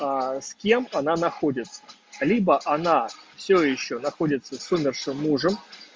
с кем она находится либо она все ещё находится с умершим мужем